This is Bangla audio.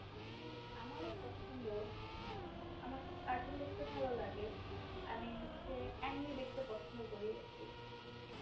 উহ আমার পছন্দ আহ আমার cartoon দেখতে ভালো লাগে আমি হচ্ছে দেখতে পছন্দ করি আর কি